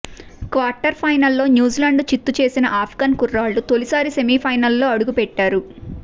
quarter ఫౖెెనల్లో న్యూజి లాండ్ను చిత్తు చేసిన ఆప్గాన్ కుర్రాళ్లు తొలిసారి సెమీ ఫైనల్లో అడుగుపెట్టారు